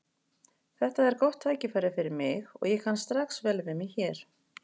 Þetta er gott tækifæri fyrir mig og ég kann strax vel við mig hér.